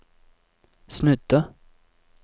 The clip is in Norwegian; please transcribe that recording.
snudde